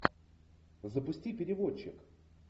запусти переводчик